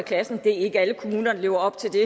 i klassen det er ikke alle kommuner der lever op til det